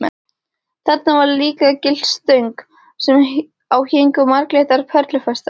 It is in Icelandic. Þarna var líka gyllt stöng sem á héngu marglitar perlufestar.